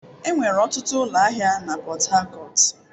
Enwere ọtụtụ ụlọ ahịa na Port Harcourt.